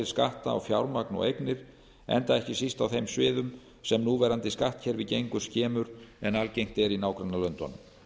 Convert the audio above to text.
skatta á fjármagn og eignir enda ekki síst á þeim sviðum sem núverandi skattkerfi gengur skemur en algengt er í nágrannalöndunum